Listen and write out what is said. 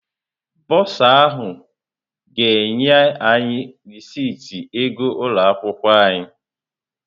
Bọrzà ahụ ga-enye anyị rịsịtị ego ụlọ akwụkwọ anyị.